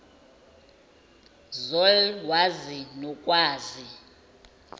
zol wazi nokwazi